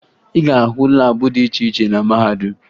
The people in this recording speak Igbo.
Ị ga-ahụ laabụ dị iche iche na mahadum